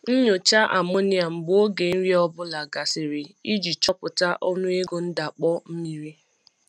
Nyochaa amonia mgbe oge nri ọ bụla gasịrị iji chọpụta ọnụego ndakpọ mmiri.